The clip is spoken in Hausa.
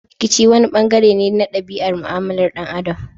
Rikici wani bangare ne na dabi'ar mu'amalar dan Adam.